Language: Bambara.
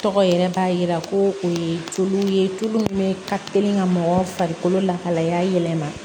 Tɔgɔ yɛrɛ b'a yira ko o ye tulu ye tulu min bɛ kalen ka mɔgɔ farikolo lahalaya yɛlɛma